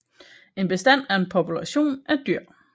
En bestand er en population af dyr